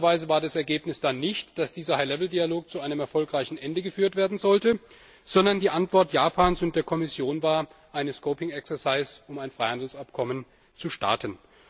Spannenderweise war das Ergebnis dann nicht, dass dieser High Level Dialog zu einem erfolgreichen Ende geführt werden sollte, sondern die Antwort Japans und der Kommission war, ein scoping exercise um ein Freihandelsabkommen zu starten.